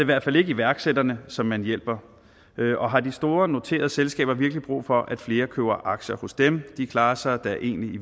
hvert fald ikke iværksætterne som man hjælper og har de store noterede selskaber virkelig brug for at flere køber aktier hos dem de klarer sig da egentlig i